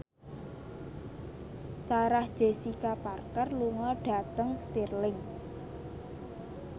Sarah Jessica Parker lunga dhateng Stirling